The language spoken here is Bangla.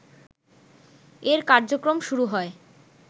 এর কার্যক্রম শুরু হয়